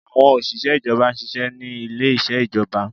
Àwọn òṣìṣẹ́ ìjọba ṣiṣẹ́ ni ilé isẹ ìjọba